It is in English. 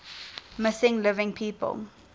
missing living people